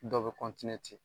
Dɔw bi ten.